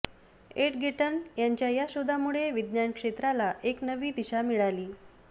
एडगेटर्न यांच्या या शोधामुळे विज्ञान क्षेत्राला एक नवीन दिशा मिळाली